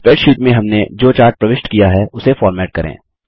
spreadsheet में हमने जो चार्ट प्रविष्ट किया है उसे फ़ॉर्मेट करें